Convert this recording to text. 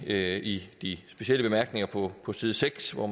er i de specielle bemærkninger på side seks hvor